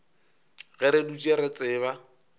ge re dutše re tseba